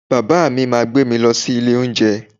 Bàbá mi máa gbé mi lọ sí ilé oúnjẹ